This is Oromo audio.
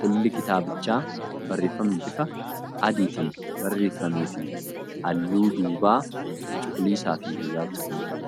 Qolli kitaabichaa barreeffama bifa adiitiin barreeffameefi halluu duubaa cuquliisaafi gurraacha kan qabuudha.